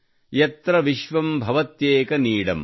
ಯತ್ರ ವಿಶ್ವಂ ಭವತ್ಯೇಕ ನೀಡಂ